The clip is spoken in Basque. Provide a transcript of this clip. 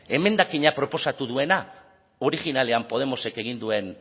emendakina proposatu duena originalean podemosek egin duen